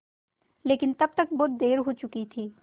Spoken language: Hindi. लेकिन तब तक बहुत देर हो चुकी थी